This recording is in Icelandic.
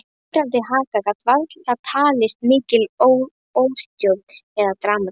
Titrandi haka gat varla talist mikil óstjórn eða dramatík.